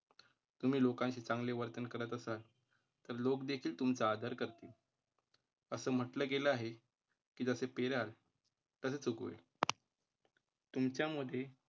तुम्ही लोकांचे चांगले वर्तन करत असाल, तर लोक देखील तुमचा आदर करतील. असं म्हटलं गेलं आहे की जसे पेराल तसे उगवेल. तुमच्या मध्ये